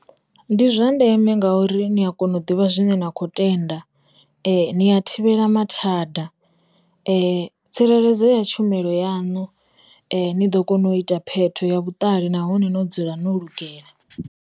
Ndi zwa ndeme ngauri ni a kona u ḓivha zwine na khou tenda, ni a thivhela mathada, tsireledzo ya tshumelo yanu, ni ḓo kona u ita phetho ya vhuṱali nahone no dzula no lugela.